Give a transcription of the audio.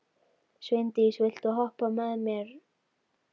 Sveindís, viltu hoppa með mér?